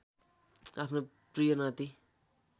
आफ्नो प्रिय नाती